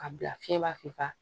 Ka bila fiɲɛ b'a f'i fa